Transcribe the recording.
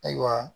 Ayiwa